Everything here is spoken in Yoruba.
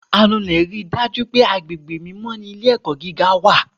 anulè ṣe idaju pé agbégbé mímọ ni ilé-ẹkọ gígá.